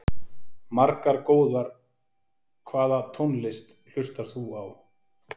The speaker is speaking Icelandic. Margar góðar Hvaða tónlist hlustar þú á?